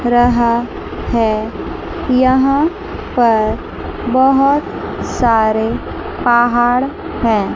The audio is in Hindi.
रहा है यहां पर बहुत सारे पहाड़ हैं।